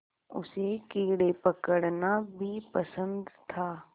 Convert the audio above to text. उसे कीड़े पकड़ना भी पसंद था